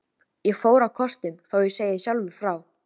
Ég fór á kostum, þó ég segi sjálfur frá.